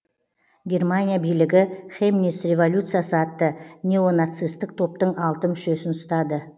германия билігі хемниц революциясы атты неонацистік топтың алты мүшесін ұстады